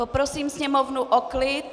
Poprosím sněmovnu o klid.